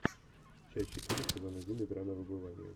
часть четыре сезон один игра на выбывание